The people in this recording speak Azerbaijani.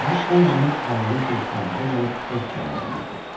Bağı olmayan ailəlikcə istirahətə gəlib ev kirayə eləyirdi.